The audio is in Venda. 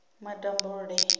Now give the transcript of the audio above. matambule